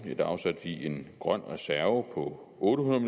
afsatte vi en grøn reserve på otte hundrede